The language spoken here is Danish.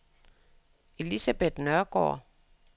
Elisabeth Nørgaard